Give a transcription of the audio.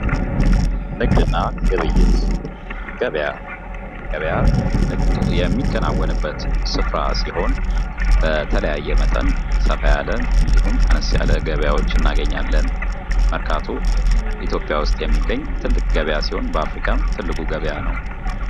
ንግድና ግብይት ገበያ ገበያ ንግድ የሚከናወንበት ስፍራ ሲሆን፤ በተለያየ መጠን ሰፋ ያለ እንዲሁም አነስ ያለ ገበያዎች እናገኛለን። መርካቶ ኢትዮጵያ ውስጥ የሚገኝ ትልቅ ገበያ ሲሆን ፤ በአፍሪካም ትልቁ ገበያ ነው።